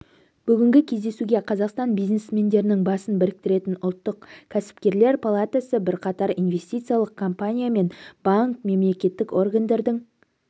бүгінгі кездесуге қазақстан бизнесмендерінің басын біріктіретін ұлттық кәсіпкерлер палатасы бірқатар инвестициялық компания мен банк мемлекеттік органдардың